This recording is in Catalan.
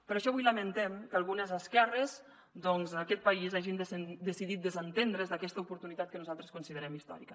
per això avui lamentem que algunes esquerres doncs en aquest país hagin decidit desentendre’s d’aquesta oportunitat que nosaltres considerem històrica